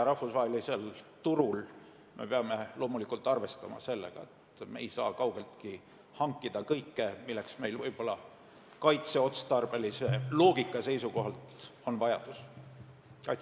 Rahvusvahelisel turul me peame loomulikult arvestama sellega, et me ei saa kaugeltki hankida kõike, mille järele meil võib-olla kaitseotstarbelise loogika seisukohalt vajadus on.